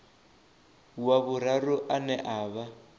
wa vhuraru ane a vha